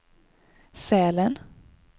Sälen